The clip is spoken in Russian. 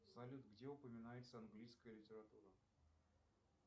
салют где упоминается английская литература